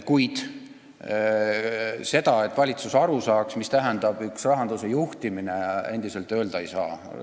Kuid seda, nagu valitsus saaks aru, mida tähendab rahanduse juhtimine, endiselt öelda ei saa.